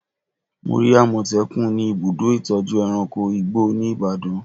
Mo rí àmọ̀tẹ́kùn ni ibùdó ìtọ́jú ẹranko igbó ní Ibadan